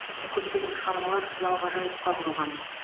тіпті көптеген шығармалар қиял ғажайыпқа құрылған